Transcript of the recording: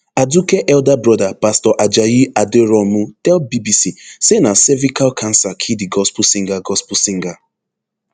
aduke elder broda pastor ajayi aderounmu tell bbc say na cervical cancer kill di gospel singer gospel singer